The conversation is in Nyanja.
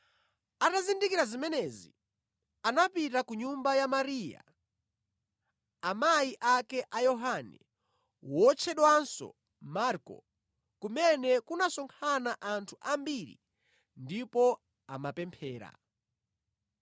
Atazindikira zimenezi anapita ku nyumba ya Mariya amayi ake a Yohane, wotchedwanso Marko, kumene kunasonkhana anthu ambiri ndipo amapemphera.